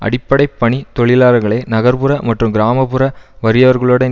அடிப்படை பணி தொழிலாளர்களை நகர் புற மற்றும் கிராம புற வறியவர்களுடன்